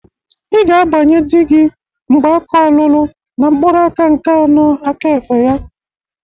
Ị ga-agbanye dị gi mgbaka ọlụlụ na mkpụrụaka nke anọ aka egbe ya!